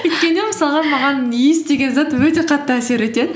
өйткені мысалға маған иіс деген зат өте қатты әсер етеді